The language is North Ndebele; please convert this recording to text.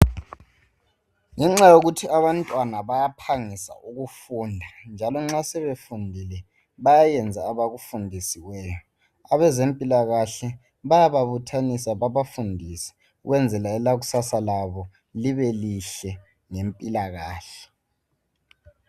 Ngenxa yokuthi abantwana bayaphangisa ukufunda njalo nxa sebefundisiwe bayenza abakufundisiweyo abezempilakahle bayabuthanisa bebafundise ukwenzela elakusasa labo libe lihle lempilakahle.